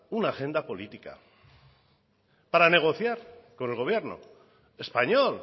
una agenda política para negociar con el gobierno español